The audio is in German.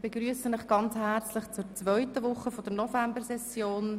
Ich begrüsse Sie herzlich zur zweiten Woche der Novembersession.